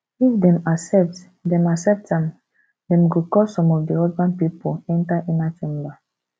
if dem accept dem accept am dem go call some of di husband pipol enter inner chamber